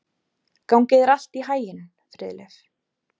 Gangi þér allt í haginn, Friðleif.